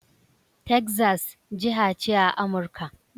Texas, jiha ce a Amurka.